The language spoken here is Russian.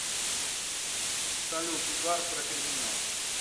салют угар про криминал